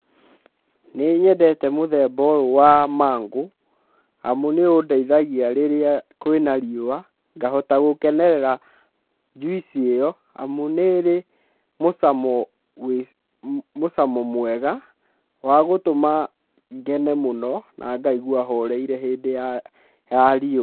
Nĩnyendete mũthemba ũyũ wa mango, amu nĩũndeithagĩa rĩrĩa kwĩna riũa ngahota gũkenerera juici ĩo amu nĩĩrĩ mĩcamo mũcamo mwega wagũtũma ngene mũno nangaigua horeire hĩndĩ ya riũa.